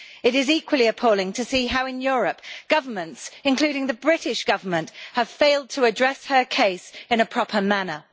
It is equally appalling to see how in Europe, governments including the British Government have failed to address her case in a proper manner.